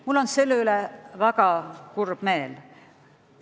Mul on selle üle väga kurb meel.